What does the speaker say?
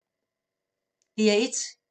DR1